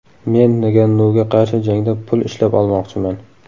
Men Ngannuga qarshi jangda pul ishlab olmoqchiman.